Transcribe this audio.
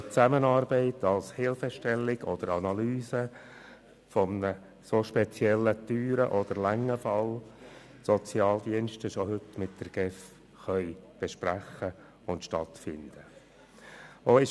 Die Sozialdienste können sich bei der Analyse eines speziell teuren oder langen Falls schon heute mit der GEF besprechen und erhalten im Rahmen einer Zusammenarbeit Hilfestellung.